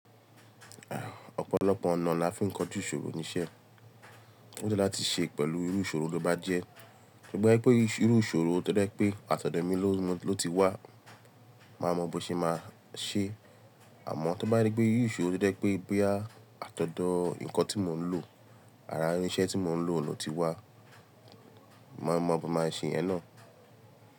Ọ̀pọ̀lọpọ̀ ọ̀nà la fi ń kọjú ìṣòro níṣẹ́. Ó de láti ṣe pẹ̀lú irú ìṣòro tó bá jẹ́. To bá je pe iru pé irú ìṣòro tó dẹ́ pé àtọ̀dẹ mī ló ti wà, màá mọ bó ṣe máa ṣe. Àmọ́ tí mo bá rí pé irú ìṣòro tó dẹ́ pé boya àtọ̀dọ̀ nǹkan tí mò ń lò, ara irinṣẹ́ tí mò ń lò ló ti wà, màá mọ baa máa ṣe yen náà.